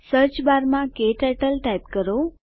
search બારમાં ક્ટર્ટલ type કરો